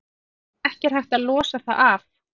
Ekki er hægt að losa það af.